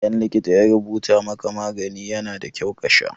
Idan likita ya rubuta maka magani, yana da kyau kasha.